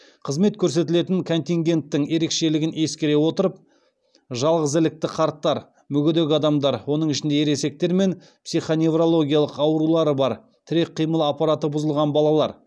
қызмет көрсетілетін контингенттің ерекшелігін ескере отырып жалғызілікті қарттар мүгедек адамдар оның ішінде ересектер мен психоневрологиялық аурулары бар тірек қимыл аппараты бұзылған балалар